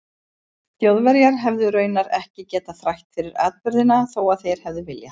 Þjóðverjar hefðu raunar ekki getað þrætt fyrir atburðina þó að þeir hefðu viljað.